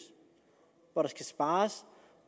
hvor der skal spares